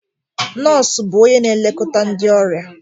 Nọọsụ bụ onye na-elekọta ndị ọrịa